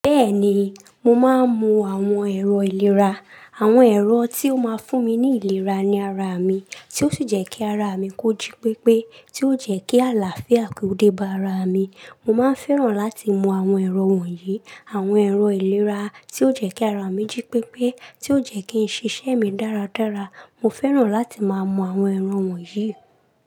Bẹ́ẹ̀ni, mo máa ń mu àwọn ẹ̀rọ ìlera. Àwọn ẹ̀rọ tí ó máa ń fún mi ní ìlera ní ara mi, tí ó sì jẹ́ kí ara mi kóji pípé, tí ó jẹ́ kí àlàáfíà ko dé bá ara mi. Mo máa ń fẹ́ràn láti mú àwọn ẹ̀rọ wọ̀nyí. Àwọn ẹ̀rọ ìlera tí ó jẹ́ kí ara mi jí pípé, tí ó jẹ́ kí nṣe iṣẹ́ mi dáradára. Mo fẹ́ràn láti máa mú àwọn ẹ̀rọ wọ̀nyí.